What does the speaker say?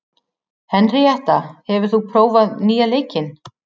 Henríetta, hefur þú prófað nýja leikinn?